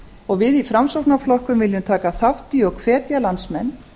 og við í framsóknarflokknum viljum taka þátt í og hvetja landsmenn